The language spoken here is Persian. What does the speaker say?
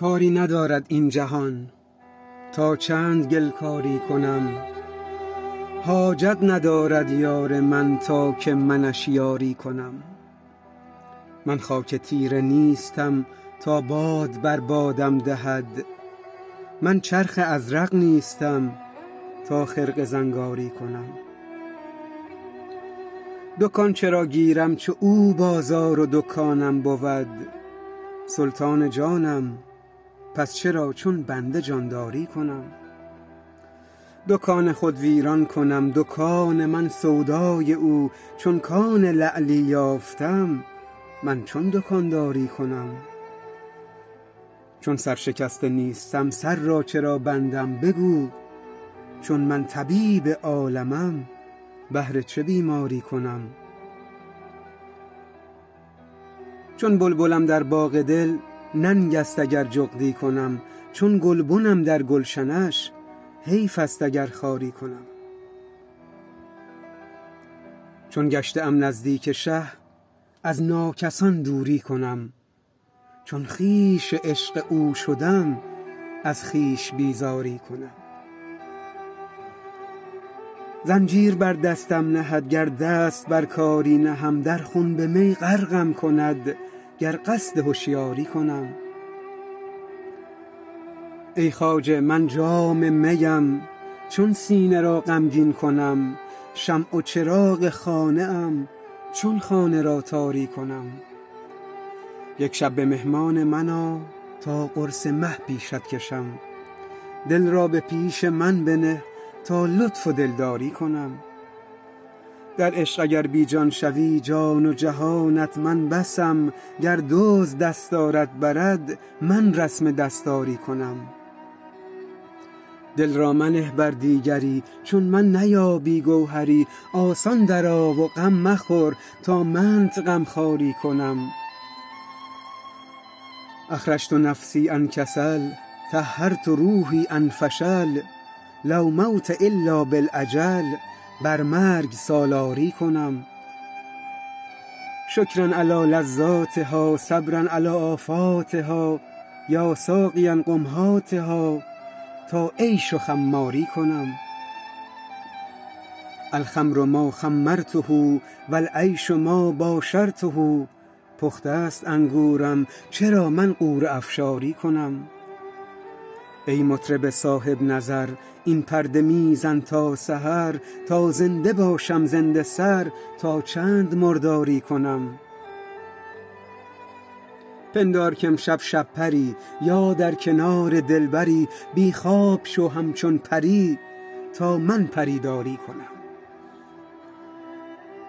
کاری ندارد این جهان تا چند گل کاری کنم حاجت ندارد یار من تا که منش یاری کنم من خاک تیره نیستم تا باد بر بادم دهد من چرخ ازرق نیستم تا خرقه زنگاری کنم دکان چرا گیرم چو او بازار و دکانم بود سلطان جانم پس چرا چون بنده جانداری کنم دکان خود ویران کنم دکان من سودای او چون کان لعلی یافتم من چون دکانداری کنم چون سرشکسته نیستم سر را چرا بندم بگو چون من طبیب عالمم بهر چه بیماری کنم چون بلبلم در باغ دل ننگست اگر جغدی کنم چون گلبنم در گلشنش حیفست اگر خاری کنم چون گشته ام نزدیک شه از ناکسان دوری کنم چون خویش عشق او شدم از خویش بیزاری کنم زنجیر بر دستم نهد گر دست بر کاری نهم در خنب می غرقم کند گر قصد هشیاری کنم ای خواجه من جام میم چون سینه را غمگین کنم شمع و چراغ خانه ام چون خانه را تاری کنم یک شب به مهمان من آ تا قرص مه پیشت کشم دل را به پیش من بنه تا لطف و دلداری کنم در عشق اگر بی جان شوی جان و جهانت من بسم گر دزد دستارت برد من رسم دستاری کنم دل را منه بر دیگری چون من نیابی گوهری آسان درآ و غم مخور تا منت غمخواری کنم اخرجت نفسی عن کسل طهرت روحی عن فشل لا موت الا بالاجل بر مرگ سالاری کنم شکری علی لذاتها صبری علی آفاتها یا ساقیی قم هاتها تا عیش و خماری کنم الخمر ما خمرته و العیش ما باشرته پخته ست انگورم چرا من غوره افشاری کنم ای مطرب صاحب نظر این پرده می زن تا سحر تا زنده باشم زنده سر تا چند مرداری کنم پندار کامشب شب پری یا در کنار دلبری بی خواب شو همچون پری تا من پری داری کنم